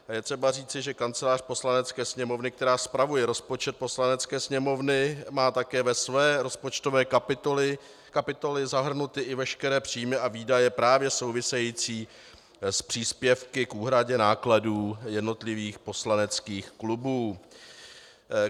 Je třeba říci, že Kancelář Poslanecké sněmovny, která spravuje rozpočet Poslanecké sněmovny, má také ve své rozpočtové kapitole zahrnuty i veškeré příjmy a výdaje právě související s příspěvky k úhradě nákladů jednotlivých poslaneckých klubů.